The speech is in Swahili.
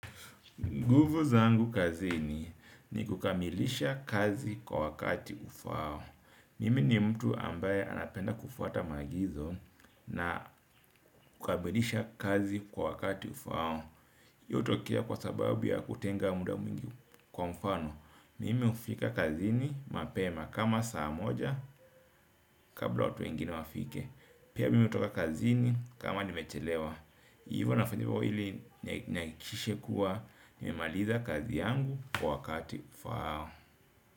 Nguvu zangu kazini ni kukamilisha kazi kwa wakati ufao. Mimi ni mtu ambaye anapenda kufuata maagizo na kukamilisha kazi kwa wakati ufao. Io utokea kwa sababu ya kutenga muda mwingi kwa mfano. Mimi ufika kazini mapema kama saa moja kabla watu wengine wafike. Pia mimi utoka kazini kama nimechelewa. Hivyo nafanya ivo ili naikishe kuwa nimemalitha kazi yangu kwa wakati ufao.